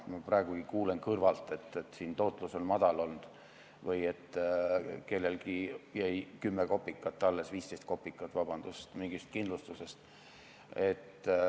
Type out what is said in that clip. Ma praegugi kuulen kõrvalt, et tootlus on madal olnud või et kellelgi jäi 10 või 15 kopikat alles mingist kindlustusest.